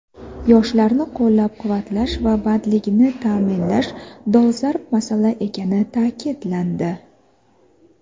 yoshlarni qo‘llab-quvvatlash va bandligini ta’minlash dolzarb masala ekani ta’kidlandi.